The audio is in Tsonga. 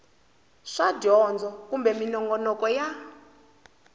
swa dyondzo kumbe minongonoko ya